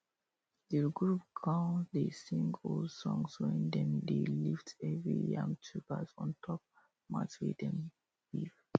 the group con dey sing old songs when dem dey lift heavy yam tubers ontop mat wey dem weave